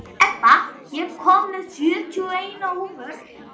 Ebba, ég kom með sjötíu og eina húfur!